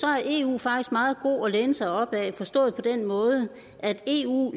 er eu faktisk meget god at læne sig op ad forstået på den måde at eu